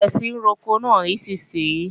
Bẹ̀rẹ̀ sí ní roko náà nísinsìnyí!